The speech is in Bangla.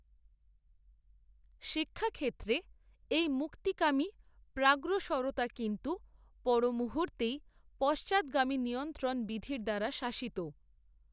শিক্ষাক্ষেত্রে এই মুক্তিকামী প্রাগ্রসরতা, কিন্ত্ত, পরমুহুর্তেই, পশ্চাত্গামী নিয়ন্ত্রণ বিধির দ্বারা শাসিত